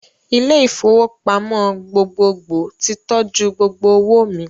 Ilé-ìfowópamọ́ gbogbogbò ti tọ́jú gbogbo owó mi.